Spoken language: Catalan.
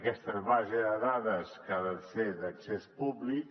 aquesta base de dades que ha de ser d’accés públic